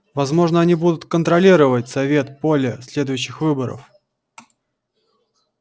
возможно они будут контролировать совет поле следующих выборов